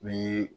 Ni